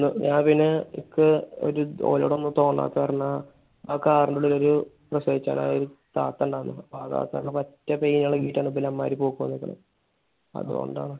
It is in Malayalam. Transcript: ഞാൻ പിന്നെ എനിക്ക് ഓനോട് ഒന്നും തോന്നാത്തത് കാരണം ആ car ന്റെ ഉള്ളിൽ ഒരു പ്രസവിക്കാറായ ഒരു താത്ത ഇണ്ടായിരുന്ന്. ആ താത്താക്ക് pain ഇളകിയിട്ടാണ് ബിലാന്മാർ പോക്ക് വന്നേക്കണെ. അത് കൊണ്ടാണ്.